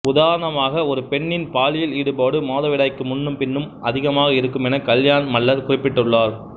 உதாரணமாக ஒரு பெண்ணின் பாலியல் ஈடுபாடு மாதவிடாய்க்கு முன்னும் பின்னும் அதிகமாக இருக்கும் என கல்யாண மல்லர் குறிப்பிட்டுள்ளார்